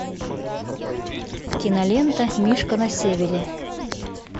кинолента мишка на севере